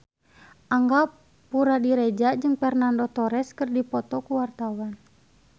Angga Puradiredja jeung Fernando Torres keur dipoto ku wartawan